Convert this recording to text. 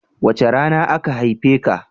Wace rana aka haife ka?